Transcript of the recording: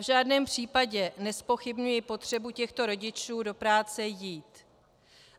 V žádném případě nezpochybňuji potřebu těchto rodičů do práce jít.